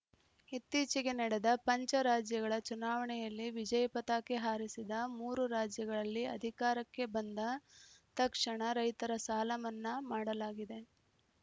ಇತ್ತೀಚೆಗೆ ನಡೆದ ಪಂಚ ರಾಜ್ಯಗಳ ಚುನಾವಣೆಯಲ್ಲಿ ವಿಜಯ ಪತಾಕೆ ಹಾರಿಸಿದ ಮೂರು ರಾಜ್ಯಗಳಲ್ಲಿ ಅಧಿಕಾರಕ್ಕೆ ಬಂದ ತಕ್ಷಣ ರೈತರ ಸಾಲಮನ್ನಾ ಮಾಡಲಾಗಿದೆ